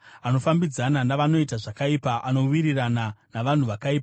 Anofambidzana navanoita zvakaipa; anowirirana navanhu vakaipa.